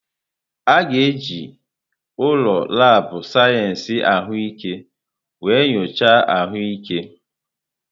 A ga-eji ụlọ laabụ̀ sayensị ahụike mee nyocha ahụike.